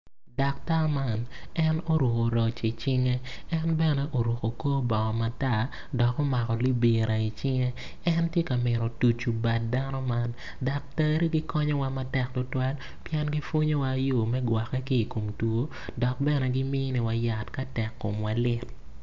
Daktar man en oruku roc icinge en bene oruku kor bongo matar dok omako libira icinge en ti ka mito tucu bad dano man daktari gikonyowa matek tutwal pien gipwonyowa yo me gwokke ki i kom two dok bene giminiwa yat ka tek komwa lit